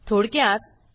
थोडक्यात